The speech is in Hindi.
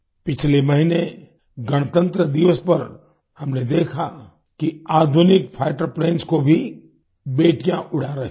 पिछले महीने गणतंत्र दिवस पर हमने देखा कि आधुनिक फाइटर प्लेन्स को भी बेटियाँ उड़ा रही हैं